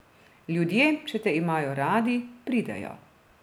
Ljudje, če te imajo radi, pridejo.